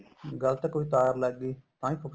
ਗਲਤ ਕੋਈ ਤਾਰ ਲੱਗ ਗਈ ਤਾਂ ਵੀ ਫੂਕ